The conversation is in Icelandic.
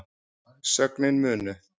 sögnin munu